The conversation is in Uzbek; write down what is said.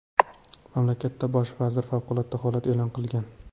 Mamlakat bosh vaziri favqulodda holat e’lon qilgan.